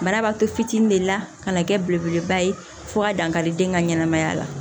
Bana b'a to fitinin de la ka na kɛ belebeleba ye fo ka dankari den ka ɲɛnɛmaya la